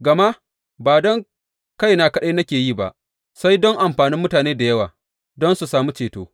Gama ba don kaina kaɗai nake yi ba, sai dai don amfanin mutane da yawa, don su sami ceto.